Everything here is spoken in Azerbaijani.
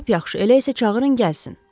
Lap yaxşı, elə isə çağırın gəlsin.